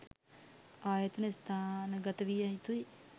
ආයතන ස්ථානගත විය යුතුයි.